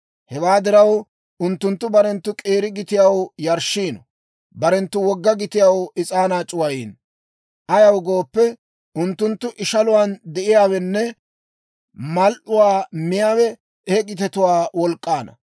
Hewaa diraw, unttunttu barenttu k'eera gitiyaw yarshshiino; barenttu wogga gitiyaw is'aanaa c'uwayiino. Ayaw gooppe, unttunttu ishaluwaan de'iyaawenne mal"uwaa miyaawe he gitetuwaa wolk'k'aanna.